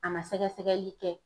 A ma sɛgɛsɛgɛli kɛ